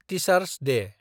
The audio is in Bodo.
टीचार'स दे